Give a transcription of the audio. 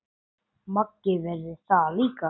Maggi verður það líka.